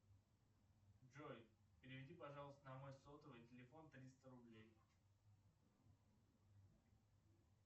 джой переведи пожалуйста на мой сотовый телефон триста рублей